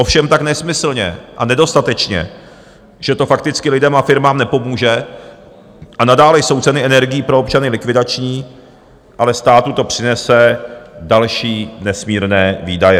Ovšem tak nesmyslně a nedostatečně, že to prakticky lidem a firmám nepomůže, a nadále jsou ceny energií pro občany likvidační, ale státu to přinese další nesmírné výdaje.